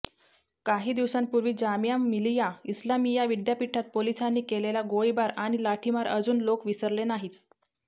काही दिवसांपर्वी जामिया मिलिया इस्लामिया विद्यापीठात पोलिसांनी केलेला गोळीबार आणि लाठीमार अजून लोक विसरले नाहीत